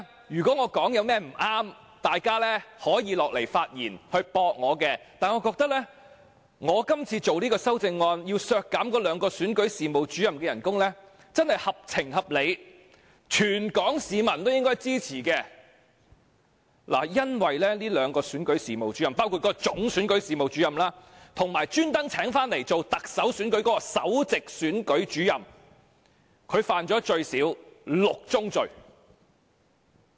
如果我有說得不對之處，大家可以下來發言駁斥我，但我覺得我今次提出修正案，削減該兩名選舉事務主任的薪酬，真是合情合理，全港市民都應該支持，因為該兩名選舉事務主任，包括該名總選舉事務主任，以及特別為特首選舉聘請的首席選舉事務主任，最少犯了6宗罪。